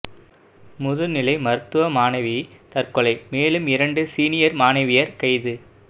முதுநிலை மருத்துவ மாணவி தற்கொலை மேலும் இரண்டு சீனியர் மாணவியர் கைது